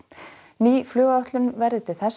ný flugáætlun verði til þess